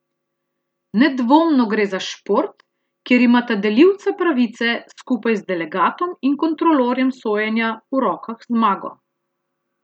Nedvomno gre za šport, kjer imata delivca pravice, skupaj z delegatom in kontrolorjem sojenja, v rokah zmago.